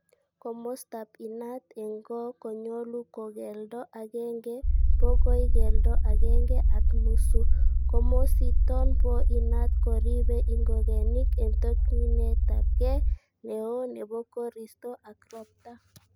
Komostab inaat en goo konyolu ko keldo agenge bokoi keldo agenge ak nusu, komosiiton boo inat koriibe ingogenik en tokyinetab gee neo nebo koriisto ak robta.